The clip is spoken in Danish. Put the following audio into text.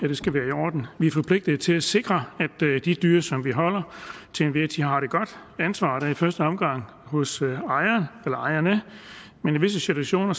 det skal være i orden vi er forpligtede til at sikre at de dyr som vi holder til enhver tid har det godt ansvaret er i første omgang hos ejeren eller ejerne men i visse situationer